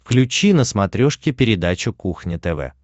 включи на смотрешке передачу кухня тв